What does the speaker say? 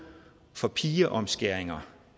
for pigeomskæringer